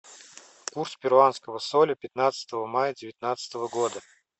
курс перуанского соля пятнадцатого мая девятнадцатого года